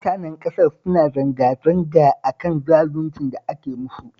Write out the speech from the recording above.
Mutanen ƙasar suna zanga-zanga a kan zaluncin da ake musu